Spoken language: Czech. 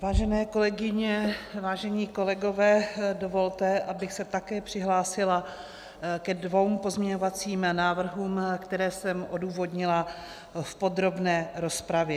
Vážené kolegyně, vážení kolegové, dovolte, abych se také přihlásila ke dvěma pozměňovacím návrhům, které jsem odůvodnila v podrobné rozpravě.